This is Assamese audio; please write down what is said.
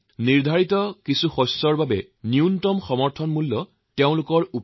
বাজেটত এইটো ঠিক কৰা হৈছে যে নিৰ্দিষ্ট শস্যৰ বাবে এমএছপি অতি কমেও ব্যয়ৰ ডেৰ গুণ কৰা হব